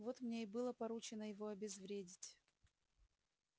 вот мне и было поручено его обезвредить